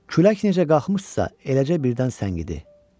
Külək necə qalxmışdırsa, eləcə birdən səngidi.